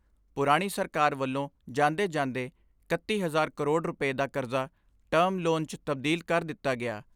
ਪੁਰਾਣੀ ਸਰਕਾਰ ਵੱਲੋਂ ਜਾਂਦੇ ਜਾਂਦੇ ਇਕੱਤੀ ਹਜ਼ਾਰ ਕਰੋੜ ਰੁਪੈ ਦਾ ਕਰਜ਼ਾ ਟਰਮ ਲੋਨ 'ਚ ਤਬਦੀਲ ਕਰ ਦਿੱਤਾ ਗਿਆ।